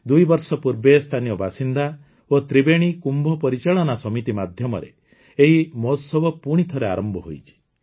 ଦୁଇବର୍ଷ ପୂର୍ବେ ସ୍ଥାନୀୟ ବାସିନ୍ଦା ଓ ତ୍ରିବେଣୀ କୁମ୍ଭ ପରିଚାଳନା ସମିତି ମାଧ୍ୟମରେ ଏହି ମହୋତ୍ସବ ପୁଣିଥରେ ଆରମ୍ଭ ହୋଇଛି